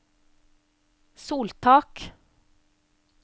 soltak